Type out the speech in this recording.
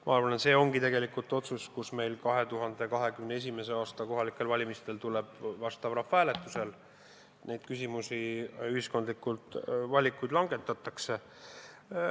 Ma arvan, et see ongi tegelikult see, mis 2021. aasta kohalikel valimistel tuleb rahvahääletusele ja need valikud langetatakse.